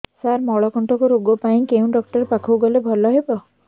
ସାର ମଳକଣ୍ଟକ ରୋଗ ପାଇଁ କେଉଁ ଡକ୍ଟର ପାଖକୁ ଗଲେ ଭଲ ହେବ